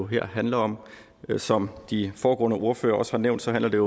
her handler om som de foregående ordførere også har nævnt handler det